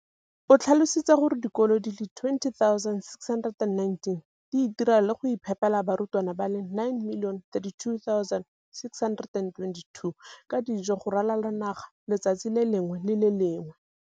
O tlhalositse gore dikolo di le 20 619 di itirela le go iphepela barutwana ba le 9 032 622 ka dijo go ralala naga letsatsi le lengwe le le lengwe.